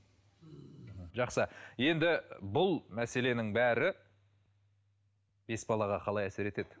жақсы енді бұл мәселенің бәрі бес балаға қалай әсер етеді